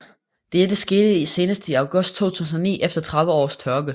Dette skete senest i august 2009 efter 30 års tørke